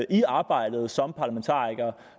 i arbejdet som parlamentarikere